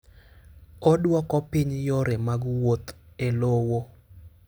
Oduoko piny yore mag wuoth e lowo.